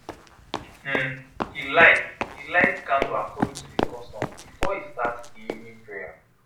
um he lite he lite candle according to the custom before e start the evening prayer